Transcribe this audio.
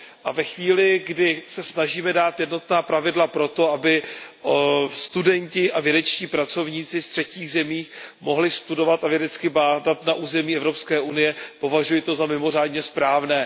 To, že se snažíme dát jednotná pravidla pro to, aby studenti a vědečtí pracovníci z třetích zemí mohli studovat a vědecky bádat na území Evropské unie, považuji za mimořádně správné.